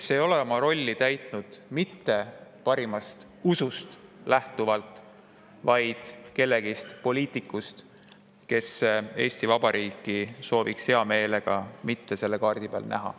… kes ei ole oma rolli täitnud mitte parimast usust lähtuvalt, vaid lähtuvalt poliitikust, kes hea meelega ei sooviks Eesti Vabariiki kaardi peal näha.